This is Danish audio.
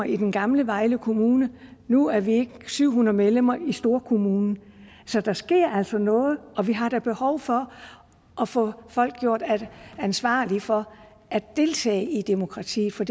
i den gamle vejle kommune nu er vi ikke syv hundrede medlemmer i storkommunen så der sker altså noget og vi har da behov for at få folk gjort ansvarlige for at deltage i demokratiet for